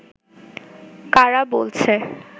কারা বলছে